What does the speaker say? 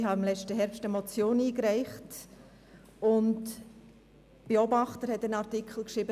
Ich habe letzten Herbst eine Motion eingereicht, und der «Beobachter» hat einen Artikel geschrieben.